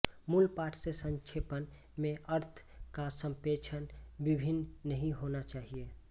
मूल पाठ से संक्षेपण में अर्थ का संप्रेषण भिन्न नहीं होना चाहिए